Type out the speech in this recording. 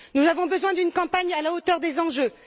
Nous avons besoin d'une campagne à la hauteur des enjeux.